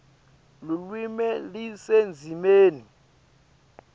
lulwimi lusendzimeni